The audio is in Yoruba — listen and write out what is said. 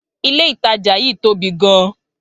Ilé ìtajà yí tóbi gan